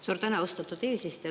Suur tänu, austatud eesistuja!